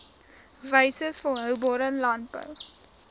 wyses volhoubare landbou